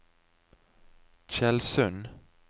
Tjeldsund